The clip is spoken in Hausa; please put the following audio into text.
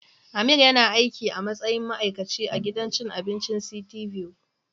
Amir yana aiki a matsayin ma'aikaci a gidan cin abincin City View.